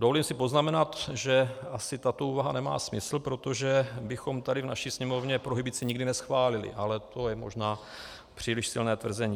Dovolím si poznamenat, že asi tato úvaha nemá smysl, protože bychom tady v naší Sněmovně prohibici nikdy neschválili, ale to je možná příliš silné tvrzení.